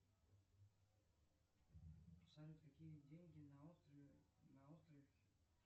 салют какие деньги на острове на острове